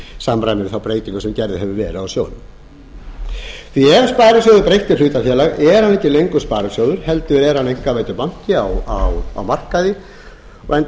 við þá breytingu sem gerð hefur verið á sjóðnum ef sparisjóði er breytt í hlutafélag er hann ekki lengur sparisjóður heldur er hann einkavæddur banki á markaði enda